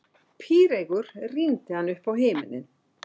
Píreygur rýndi hann uppá himininn.